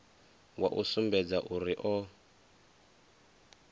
wa u sumbedza uri o